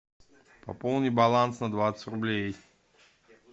пополни баланс на двадцать рублей